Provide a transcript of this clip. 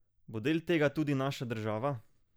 Bo del tega tudi naša država?